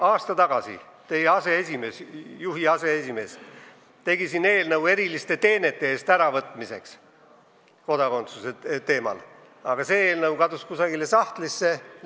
Aasta tagasi tegi teie aseesimees siin eelnõu eriliste teenete eest antud kodakondsuse äravõtmise teemal, aga see eelnõu kadus kusagile sahtlisse.